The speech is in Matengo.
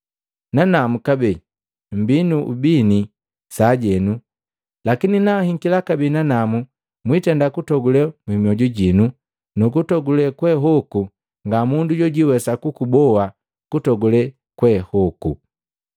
Nanamu kabee mbii nu ubini sajenu, lakini nanhikila kabee nanamu mwitenda kutogule mioju jinu nukutogule kweehoku nga mundu jojwiwesa kukuboa kutogulee kweehoku.